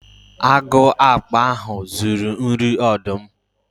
Agu okpo ahu zuru nri ọdụm